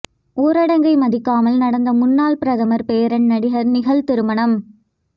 ஊரடங்கை மதிக்காமல் நடந்த முன்னாள் பிரதமர் பேரன் நடிகர் நிகில் திருமணம்